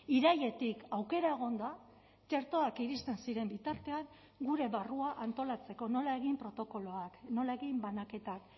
irailetik aukera egon da txertoak iristen ziren bitartean gure barrua antolatzeko nola egin protokoloak nola egin banaketak